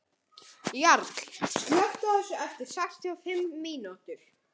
Jarl, slökktu á þessu eftir sextíu og fimm mínútur.